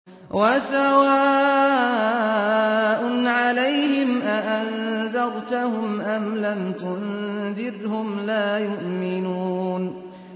وَسَوَاءٌ عَلَيْهِمْ أَأَنذَرْتَهُمْ أَمْ لَمْ تُنذِرْهُمْ لَا يُؤْمِنُونَ